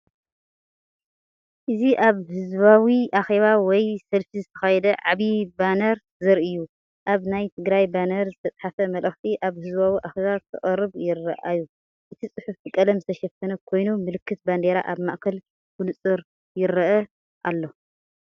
እዚ ኣብ ህዝባዊ ኣኼባ ወይ ሰልፊ ዝተኻየደ ዓቢ ባነር ዘርኢ እዩ። ኣብ ናይ ትግራይ ባነር ዝተጻሕፈ መልእኽቲ ኣብ ህዝባዊ ኣኼባ ክቐርብ ይራኣዩ። እቲ ጽሑፍ ብቀለም ዝተሸፈነ ኮይኑ፡ ምልክት ባንዴራ ኣብ ማእከል ብንጹር ይርአ ኣሎ።